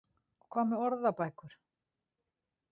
Og hvað með orðabækur?